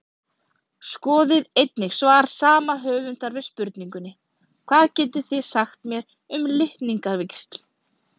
Skoðið einnig svar sama höfundar við spurningunni Hvað getið þið sagt mér um litningavíxl?